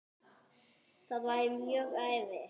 Það væri mjög erfitt.